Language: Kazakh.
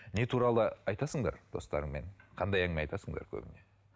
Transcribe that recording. не туралы айтасыңдар достарыңмен қандай әңгіме айтасыңдар көбіне